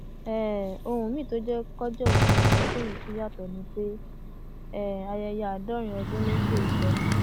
um ohun míín tó jẹ kọjọòbí tọdụn yìí tún yàtọ ni pé um ayẹyẹ àádọrin ọdún lókè eèpẹ ni